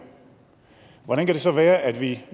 hvordan kan det så være at vi